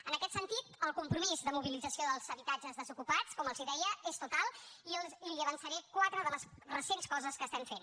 en aquest sentit el compromís de mobilització dels habitatges desocupats com els deia és total i li avançaré quatre de les recents coses que estem fent